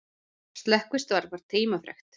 Slökkvistarf var tímafrekt